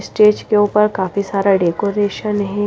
Stage के ऊपर काफी सारा डेकोरेशन है।